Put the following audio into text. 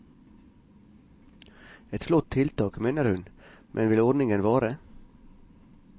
Et flott tiltak, mener hun, men vil ordningen vare?